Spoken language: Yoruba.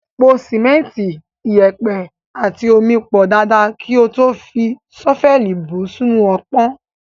Po sìmẹ́ntì, iyẹ̀pẹ̀ àti omi pọ̀ dáadáa kí o tó fi ṣọ́fẹ́ẹ̀lì bù ú sínú ọpọ́n.